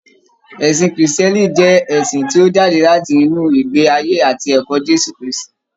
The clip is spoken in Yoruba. Ẹ̀sìn krìstìẹ́nì jẹ́ ẹ̀sìn tí ó jáde láti inú ìgbé ayé àti ẹ̀kọ́ Jésù Krístì.